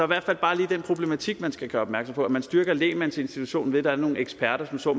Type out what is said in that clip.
hvert fald bare lige den problematik man skal gøre opmærksom på altså at man styrker lægmandsinstitutionen ved at der er nogle eksperter som så